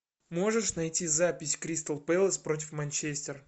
можешь найти запись кристал пэлас против манчестер